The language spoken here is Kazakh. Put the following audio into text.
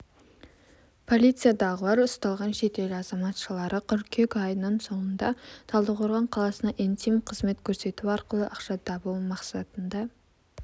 полициядағылар ұсталған шетел азаматшалары қыркүйек айының соңында талдықорған қаласына интим қызмет көрсету арқылы ақша табу мақсатында